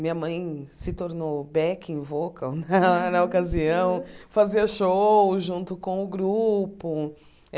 Minha mãe se tornou backing vocal na na ocasião, fazia show junto com o grupo.